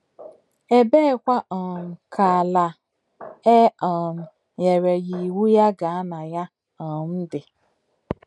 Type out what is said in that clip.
Ebeekwa um ka ala a e um nyere ya iwu ya gaa na ya um dị?